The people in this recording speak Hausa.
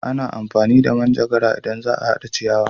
A na amfani da manjagara in za a hada ciyawa